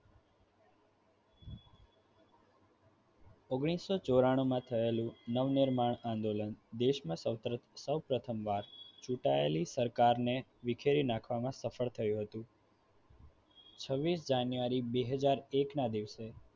ઓગણીસો ચોરનું માં થયાલુ નવનિર્માણ આંદોલન દેશમાં સૌપ્રથમ સૌપ્રથમ વાર ચૂંટાયેલી સરકાર વિખેરી નાખવામાં સફળ થયું હતું છવીસ જાન્યુઆરી બેહજાર એક ના દિવસે